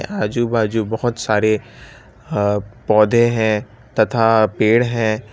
आजू बाजू बहुत सारे अह पौधे है तथा पेड़ है।